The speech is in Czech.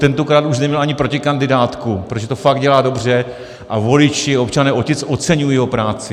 Tentokrát už neměl ani protikandidátku, protože to fakt dělá dobře a voliči, občané Otic, oceňují jeho práci.